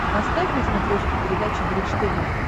поставь на смотрешке передачу бридж тв